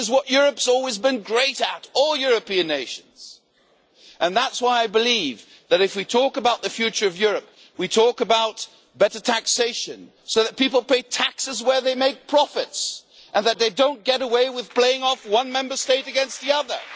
This is what Europe has always been great at all European nations and that is why I believe that if we talk about the future of Europe, we talk about better taxation, so that people pay taxes where they make profits and that they do not get away with playing one Member State against another.